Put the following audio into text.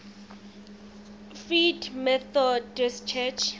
free methodist church